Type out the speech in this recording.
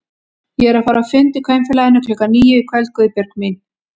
Ég er að fara á fund í Kvenfélaginu klukkan níu í kvöld Guðbjörg mín